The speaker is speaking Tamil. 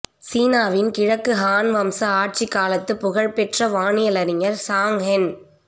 சீனாவின் கிழக்கு ஹான் வம்ச ஆட்சிக் காலத்து புகழ் பெற்ற வானியல் அறிஞர் சாங் ஹென்